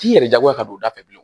T'i yɛrɛ jagoya ka don u da fɛ bilen